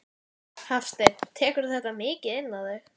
Hafsteinn: Tekurðu þetta mikið inn á þig?